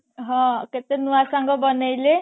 ହଁ କେତେ ନୂଆ ସାଙ୍ଗ ବନେଇଲେ